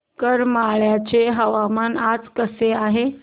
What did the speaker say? करमाळ्याचे हवामान आज कसे आहे